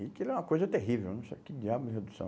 E aquilo é uma coisa terrível, não sei o que diabos é redução.